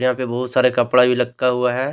यहाँ पे बहुत सारे कपड़ा भी लटका हुआ है।